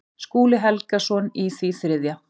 Skúli Helgason í því þriðja.